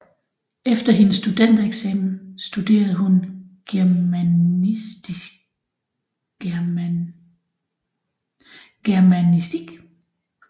Efter hendes studentereksamen studerede hun germanistik